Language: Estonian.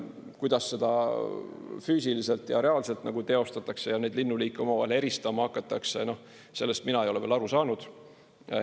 Kuidas seda füüsiliselt ja reaalselt teostatakse ja neid linnuliike omavahel eristama hakatakse, sellest mina ei ole veel aru saanud.